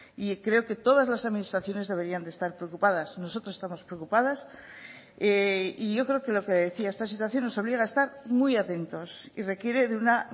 y creo que todas las administraciones deberían de estar preocupadas nosotros estamos preocupadas y yo creo que lo que decía esta situación nos obliga a estar muy atentos y requiere de una